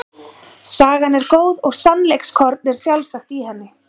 Sagan er góð og sannleikskorn er sjálfsagt í henni.